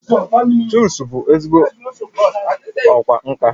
Chuks bụ ezigbo ọkwá nkà